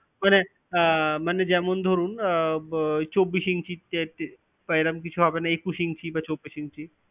মানে, আহ মানে যেমন ধরুন, আহ চব্বিশ inch বা এরম কিছু হবে না? একুশ inch বা চব্বিশ inch?